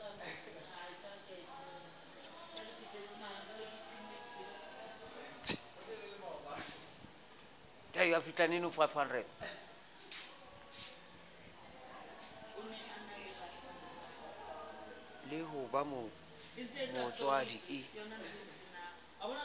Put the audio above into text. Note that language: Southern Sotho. le ho ba motswadi e